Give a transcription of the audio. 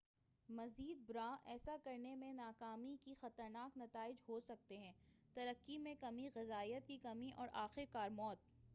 مزید برآں ایسا کرنے میں ناکامی کے خطرناک نتائج ہوسکتے ہیں ترقی میں کمی غذائیت کی کمی اور آخرکار موت